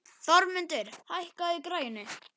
Þormundur, hækkaðu í græjunum.